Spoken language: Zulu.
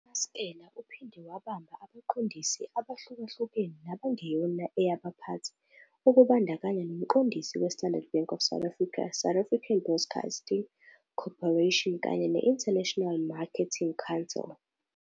UMaskela uphinde wabamba abaqondisi abahlukahlukene nabangeyona eyabaphathi, okubandakanya nomqondisi we-Standard Bank of South Africa, South African Broadcasting Corporation kanye ne-International Marketing Council.